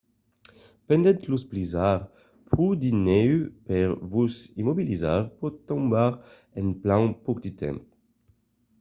pendent los blizzards pro de nèu per vos immobilizar pòt tombar en plan pauc de temps